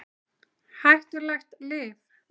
Hættulegt lyf?